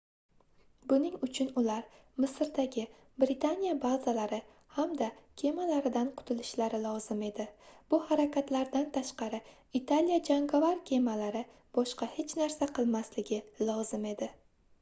buning uchun ular misrdagi britaniya bazalari hamda kemalaridan qutilishlari lozim edi bu harakatlardan tashqari italiya jangovar kemalari boshqa hech narsa qilmasligi lozim edi